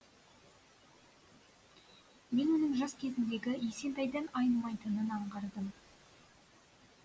мен оның жас кезіндегі есентайдан айнымайтынын аңғардым